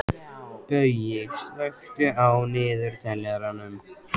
Baui, slökktu á niðurteljaranum.